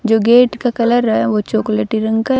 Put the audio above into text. जो गेट का कलर है वह चॉकलेटी रंग का--